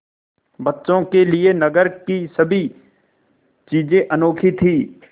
बच्चों के लिए नगर की सभी चीज़ें अनोखी थीं